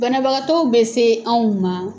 Banabagatɔw be se anw ma